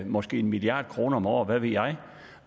måske en milliard kroner om året hvad ved jeg